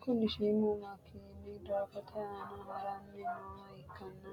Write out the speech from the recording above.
Kuni shiimu makiin doogote aana haranni nooha ikkanna